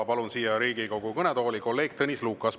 Palun Riigikogu kõnetooli kolleeg Tõnis Lukase.